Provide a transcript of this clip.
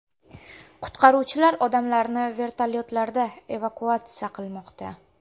Qutqaruvchilar odamlarni vertolyotlarda evakuatsiya qilmoqda.